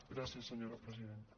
gràcies senyora presidenta